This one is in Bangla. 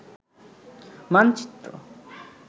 মানচিএ